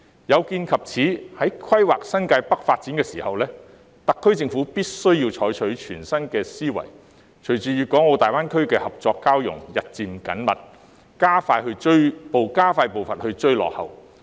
有見及此，在規劃新界北發展時，特區政府必須採用全新思維，隨着粤港澳大灣區的合作交融日漸緊密，加快步伐追趕。